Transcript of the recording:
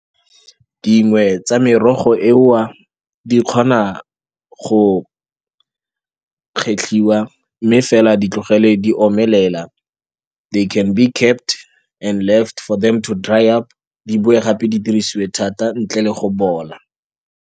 Dingwe tsa merogo eo di kgona go kgetlhiwa, mme fela di tlogelwe di omelela, they can be kept and left for them to dry up, di boe gape di dirisiwe thata, ntle le go bola.